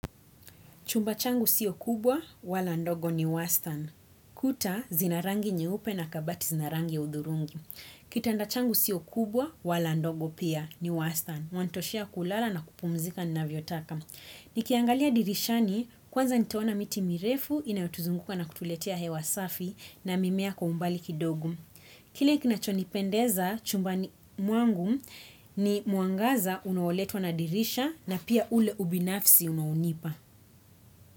Chumba changu siyo kubwa, wala ndogo ni wastern. Kuta zina rangi nyeupe na kabati zina rangi ya udhurungi. Kitanda changu siyo kubwa, wala ndogo pia ni wastern. Mwatoshea kulala na kupumzika ninavyotaka. Nikiangalia dirishani, kwanza nitaona miti mirefu, inayotuzunguka na kutuletea hewa safi na mimea kwa umbali kidogo. Kile kinachonipendeza, chumbani mwangu ni mwangaza unaoletwa na dirisha na pia ule ubinafsi unaonipa.